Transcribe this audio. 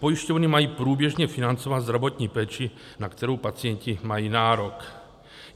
Pojišťovny mají průběžně financovat zdravotní péči, na kterou pacienti mají nárok.